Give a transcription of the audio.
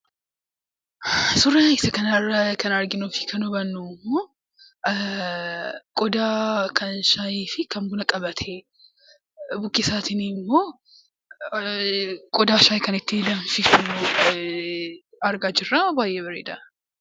Suuraa isa kanarraa kan arginuu fi kan hubannu qodaa kan shaayii fi kan bunaa qabatee qodaa shaayii kan ittiin danfisan argaa jirra baay'ee bareeda.